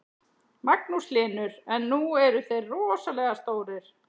Magnús Hlynur: En nú eru þeir rosalega stórir?